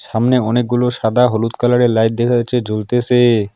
সামনে অনেকগুলো সাদা হলুদ কালারের লাইট দেখা যাচ্ছে জলতেসে।